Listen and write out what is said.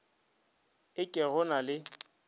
e ke go na le